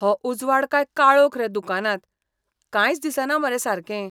हो उजवाड काय काळोख रे दुकानांत, कांयच दिसना मरे सारकें.